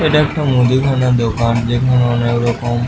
এই তা একটা মুদি খানার দোকান যেখানে অনেক রকম--